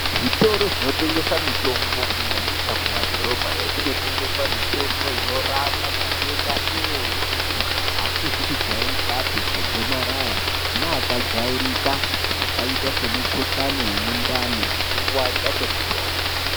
Zvitoro zvinotengesa mitombo kunyanyisa kumadhorobhayo kunotengeswa mitombo inorapa matenda eshe. Matenda asizi kujairikapi akaita segomarara neakajairika akaite semukuhlani wemundani nekurwadza kwemusoro.